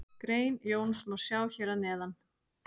Grein Jóns má sjá hér að neðan.